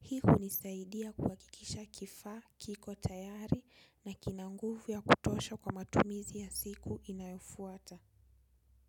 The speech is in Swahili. Hii hunisaidia kuhakikisha kifaa, kiko, tayari na kina nguvu ya kutosha kwa matumizi ya siku inayofuata.